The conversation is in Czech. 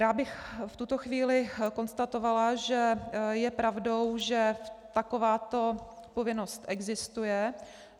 Já bych v tuto chvíli konstatovala, že je pravdou, že takováto povinnost existuje.